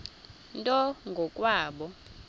nto ngo kwabo